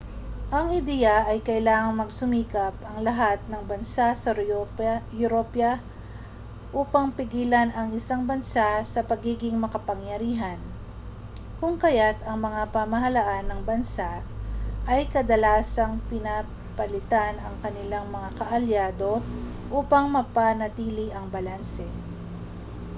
ang ideya ay kailangang magsumikap ang lahat ng bansa sa europa upang pigilan ang isang bansa sa pagiging makapangyarihan kung kaya't ang mga pamahalaan ng bansa ay kadalasang pinapalitan ang kanilang mga kaalyado upang mapanatili ang balanse